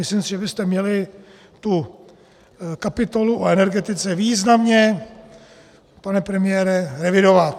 Myslím si, že byste měli tu kapitolu o energetice významně, pane premiére, revidovat!